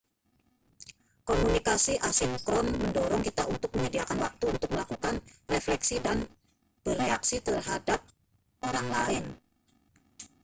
komunikasi asinkron mendorong kita untuk menyediakan waktu untuk melakukan refleksi dan bereaksi terhadap orang lain